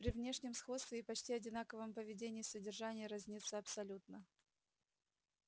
при внешнем сходстве и почти одинаковом поведении содержание разнится абсолютно